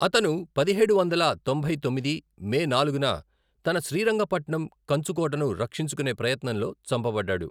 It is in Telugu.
అతను పదిహేడు వందల తొంభై తొమ్మిది మే నాలుగున తన శ్రీరంగ పట్నం కంచుకోటను రక్షించుకునే ప్రయత్నంలో చంపబడ్డాడు.